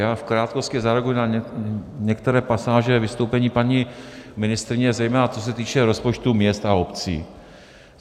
Já v krátkosti zareaguji na některé pasáže vystoupení paní ministryně, zejména co se týče rozpočtů měst a obcí.